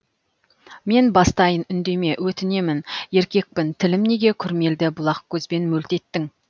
мен бастайын үндеме өтінемін еркекпін тілім неге күрмелді бұлақ көзбен мөлт еттің